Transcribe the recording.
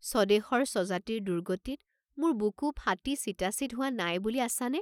স্বদেশৰ স্বজাতিৰ দুৰ্গতিত মোৰ বুকু ফাটি চিটাচিট হোৱা নাই বুলি আছা নে?